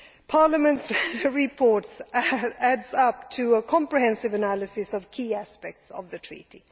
Parliament's reports add up to a comprehensive analysis of key aspects of the Treaty.